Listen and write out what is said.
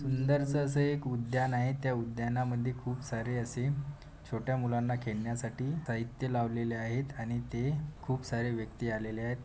सुंदरस अस उद्यान आहे त्या उद्यानामध्ये खूप सारे असे छोट्या मुलांना खेळण्यासाठी साहित्य लावलेले आहेत आणि इथे खूप सारे व्यक्ती आलेले आहेत.